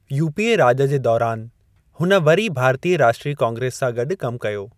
UPA राॼ जे दौरानि, हुन वरी भारतीय राष्ट्रीय काँग्रेस सां गॾु कमु कयो।